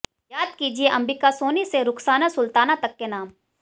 याद कीजिए अंबिका सोनी से रुखसाना सुलताना तक के नाम